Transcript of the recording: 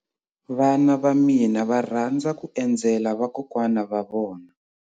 Vana va mina va rhandza ku endzela vakokwana va vona.